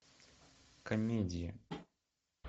комедии